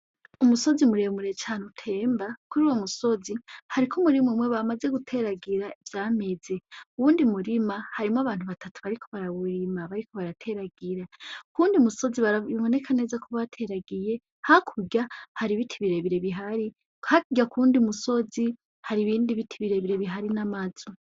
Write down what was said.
Umusozi muremure cane utemba. Kuruwo musozi hariko umurima umwe bamaze guteragira ivyameze. Uwundi murima harimwo abantu batatu bariko barawurima, bariko barateragira. Kuwundi musozi biboneka neza ko bateragiye, hakurya hari ibiti birebire bihari. Hakurya kuwundi musozi haribindi biti bire bire bihari n'amazu.